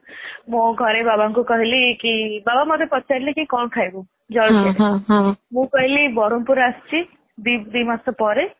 ମୋ ଘରେ ବାବାଙ୍କୁ କହିଲି କି ବାବା ମତେ ପଚାରିଲେ କଣ ଖାଇବୁ ଜଳଖିଆରେ ମୁଁ କହିଲି ବରମପୁର ଆସିଛି ଦି ଦି ମାସ ପରେ